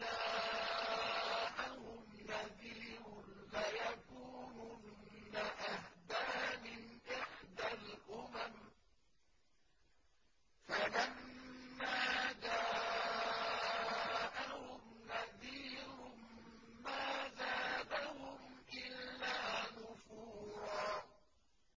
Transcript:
جَاءَهُمْ نَذِيرٌ لَّيَكُونُنَّ أَهْدَىٰ مِنْ إِحْدَى الْأُمَمِ ۖ فَلَمَّا جَاءَهُمْ نَذِيرٌ مَّا زَادَهُمْ إِلَّا نُفُورًا